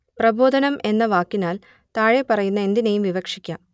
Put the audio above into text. പ്രബോധനം എന്ന വാക്കിനാൽ താഴെപ്പറയുന്ന എന്തിനേയും വിവക്ഷിക്കാം